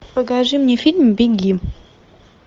покажи мне фильм беги